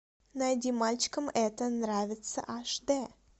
найди мальчикам это нравится аш д